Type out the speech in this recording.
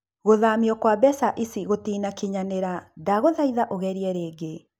Gũthamio kwa mbeca ici gũtĩnakinyanĩra, ndagũthaitha ũgerie rĩngĩ.